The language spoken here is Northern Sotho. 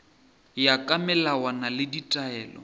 ya ka melawana le ditaelo